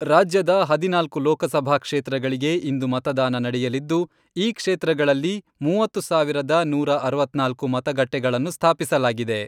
ರಾಜ್ಯದ ಹದಿನಾಲ್ಕು ಲೋಕಸಭಾ ಕ್ಷೇತ್ರಗಳಿಗೆ ಇಂದು ಮತದಾನ ನಡೆಯಲಿದ್ದು, ಈ ಕ್ಷೇತ್ರಗಳಲ್ಲಿ ಮೂವತ್ತು ಸಾವಿರದ ನೂರಾ ಅರವತ್ನಾಲ್ಕು ಮತಗಟ್ಟೆಗಳನ್ನು ಸ್ಥಾಪಿಸಲಾಗಿದೆ.